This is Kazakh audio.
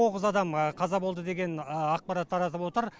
тоғыз адам қаза болды деген ақпарат таратып отыр